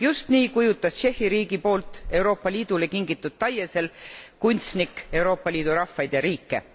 Just nii kujutas Tšehhi riigi poolt Euroopa Liidule kingitud taiesel kunstnik Euroopa Liidu rahvaid ja riike.